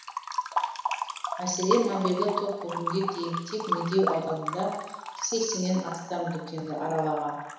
мәселен мобильді топ бүгінге дейін тек медеу ауданында сексеннен астам дүкенді аралаған